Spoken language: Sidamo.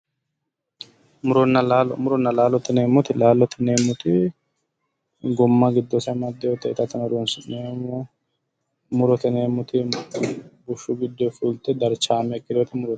Muronna laalo. Muronna laalo yineemmoti Laalote yineemmoti gumma giddose amaddewoti itate horonsi'neemmote murote yineemmoti bushshu giddonni fulte darchaame ikkitinoti murote.